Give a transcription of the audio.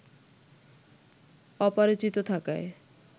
অপরাজিত থাকায়